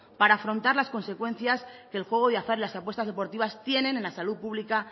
para afrontar las consecuencias que el juego de azar y las apuestas deportivas tienen en la salud pública